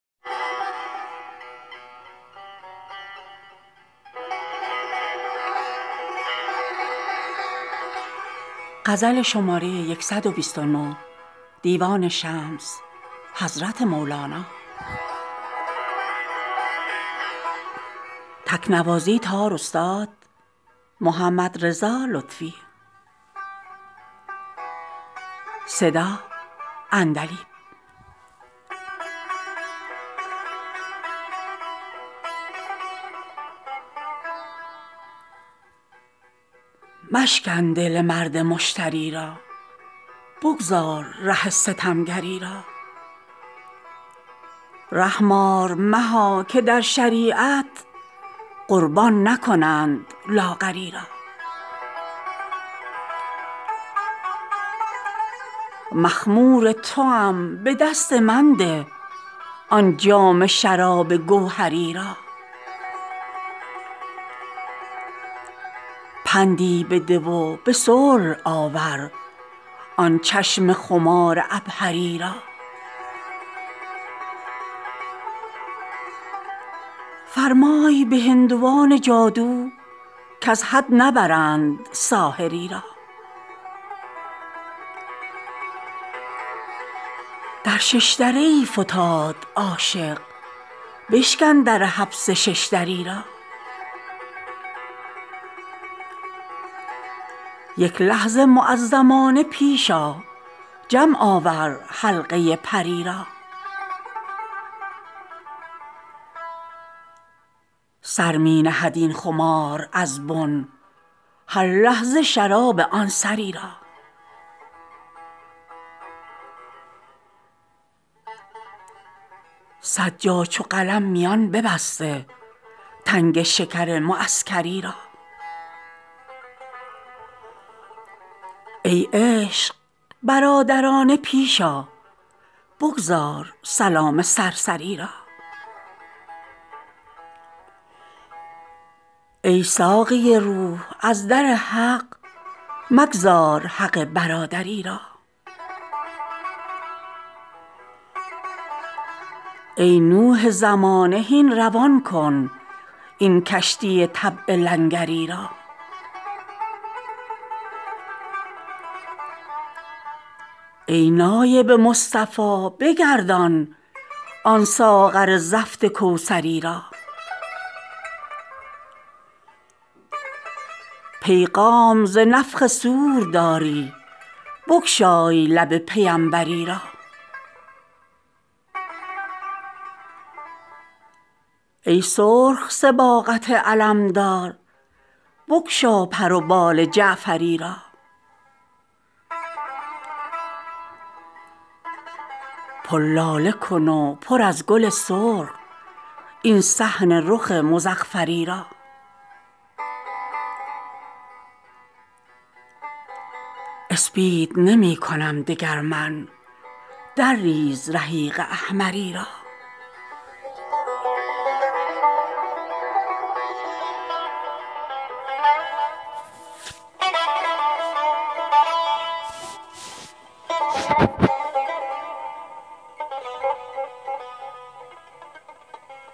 مشکن دل مرد مشتری را بگذار ره ستمگری را رحم آر مها که در شریعت قربان نکنند لاغری را مخمور توام به دست من ده آن جام شراب گوهری را پندی بده و به صلح آور آن چشم خمار عبهری را فرمای به هندوان جادو کز حد نبرند ساحری را در شش دره ای فتاد عاشق بشکن در حبس شش دری را یک لحظه معزمانه پیش آ جمع آور حلقه پری را سر می نهد این خمار از بن هر لحظه شراب آن سری را صد جا چو قلم میان ببسته تنگ شکر معسکری را ای عشق برادرانه پیش آ بگذار سلام سرسری را ای ساقی روح از در حق مگذار حق برادری را ای نوح زمانه هین روان کن این کشتی طبع لنگری را ای نایب مصطفی بگردان آن ساغر زفت کوثری را پیغام ز نفخ صور داری بگشای لب پیمبری را ای سرخ صباغت علمدار بگشا پر و بال جعفری را پر لاله کن و پر از گل سرخ این صحن رخ مزعفری را اسپید نمی کنم دگر من درریز رحیق احمری را